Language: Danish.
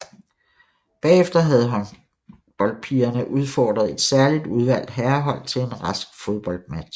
Bagefter havde håndholdpigerne udfordret et særligt udvalgt herrehold til en rask fodboldmatch